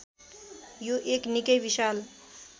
यो एक निक्कै विशाल